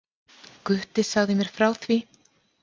Gutti sagði mér frá því.